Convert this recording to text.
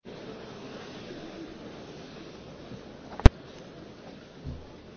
Meine sehr geehrten Damen und Herren!